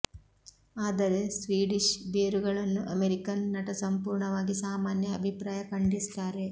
ಆದರೆ ಸ್ವೀಡಿಷ್ ಬೇರುಗಳನ್ನು ಅಮೆರಿಕನ್ ನಟ ಸಂಪೂರ್ಣವಾಗಿ ಸಾಮಾನ್ಯ ಅಭಿಪ್ರಾಯ ಖಂಡಿಸುತ್ತಾರೆ